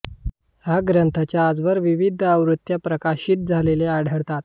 ह्या ग्रंथांच्या आजवर विविध आवृत्त्या प्रकाशित झालेल्या आढळतात